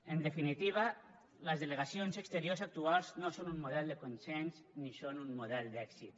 en definitiva les delegacions exteriors actuals no són un model de consens ni són un model d’èxit